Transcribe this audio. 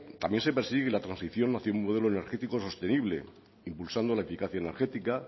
también se persigue la transición hacia un modelo energético sostenible impulsando la eficacia energética